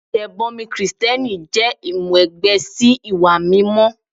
Ìtẹ̀bọmi Kristẹni jẹ́ ìmúwẹgbẹ́ sí ìwà mímọ́.